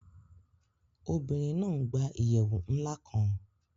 Obìnrin náa n gbà ìyèwù nlá kán